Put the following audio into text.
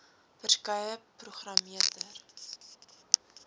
verskeie programme ter